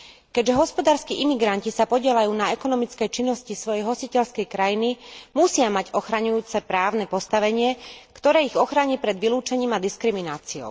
Keďže hospodárski imigranti sa podieľajú na ekonomickej činnosti svojej hostiteľskej krajiny, musia mať ochraňujúce právne postavenie, ktoré ich ochráni pred vylúčením a diskrimináciou.